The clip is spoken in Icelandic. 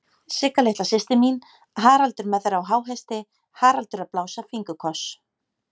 Sigga litla systir mín, Haraldur með þær á háhesti, Haraldur að blása fingurkoss.